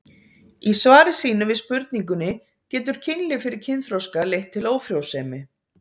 Í svari sínu við spurningunni Getur kynlíf fyrir kynþroska leitt til ófrjósemi?